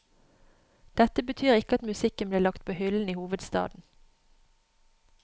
Dette betyr ikke at musikken blir lagt på hyllen i hovedstaden.